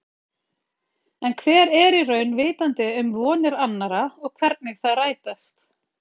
En hver er í raun vitandi um vonir annarra og hvernig þær rætast.